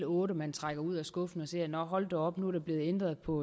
otte man trækker ud af skuffen at sige nåh hold da op nu er der blevet ændret på